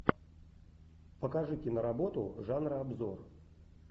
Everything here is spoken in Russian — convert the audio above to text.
покажи киноработу жанра обзор